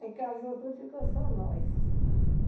Aí casou tudo, e ficou só nós.